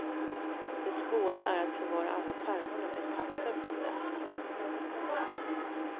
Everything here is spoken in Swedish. Det svåra är att förvara alla pärmarna med papper från mötena.